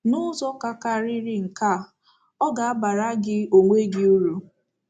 N’ụzọ ka karịrị nke a, ọ ga-abara gị onwe gị uru.